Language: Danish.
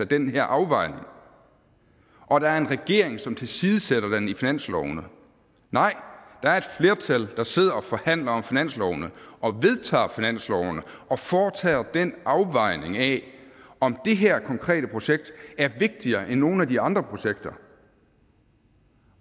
den her afvejning og der er en regering som tilsidesætter den i finanslovene nej der er et flertal der sidder og forhandler om finanslovene og vedtager finanslovene og foretager den afvejning af om det her konkrete projekt er vigtigere end nogen af de andre projekter